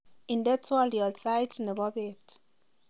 inde twolyot said nebo beet